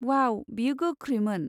वाव, बेयो गोख्रैमोन!